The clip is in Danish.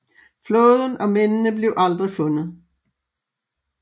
Flåden og mændene blev aldrig fundet